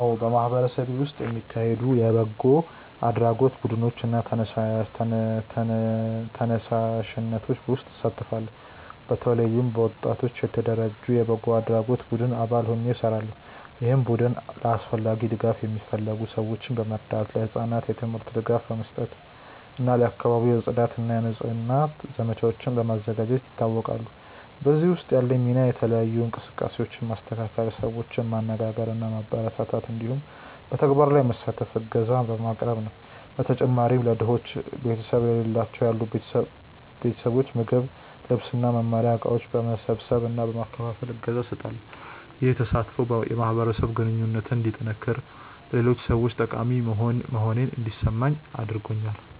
አዎ፣ በማህበረሰቤ ውስጥ የሚካሄዱ የበጎ አድራጎት ቡድኖች እና ተነሳሽነቶች ውስጥ እሳተፋለሁ። በተለይም በወጣቶች የተደራጀ የበጎ አድራጎት ቡድን አባል ሆኜ እሰራለሁ፣ ይህም ቡድን ለአስፈላጊ ድጋፍ የሚፈልጉ ሰዎችን በመርዳት፣ ለህጻናት የትምህርት ድጋፍ በመስጠት እና ለአካባቢው የጽዳት እና የንጽህና ዘመቻዎችን በማዘጋጀት ይታወቃል። በዚህ ውስጥ ያለኝ ሚና የተለያዩ እንቅስቃሴዎችን ማስተካከል፣ ሰዎችን ማነጋገር እና ማበረታታት እንዲሁም በተግባር ላይ በመሳተፍ እገዛ ማቅረብ ነው። በተጨማሪም ለድሆች እና ቤተሰብ ለሌላቸው ያሉ ቤተሰቦች ምግብ፣ ልብስ እና መማሪያ እቃዎች በመሰብሰብ እና በመከፋፈል እገዛ እሰጣለሁ። ይህ ተሳትፎ የማህበረሰብ ግንኙነቴን እንዲጠነክር እና ለሌሎች ሰዎች ጠቃሚ መሆኔን እንዲሰማኝ አድርጎኛል።